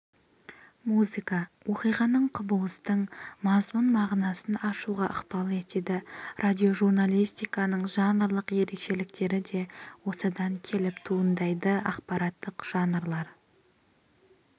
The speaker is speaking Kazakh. музыка оқиғаның құбылыстың мазмұн-мағынасын ашуға ықпал етеді радиожурналистиканың жанрлық ерекшеліктері де осыдан келіп туындайды ақпараттық жанрлар